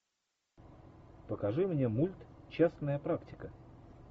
покажи мне мульт частная практика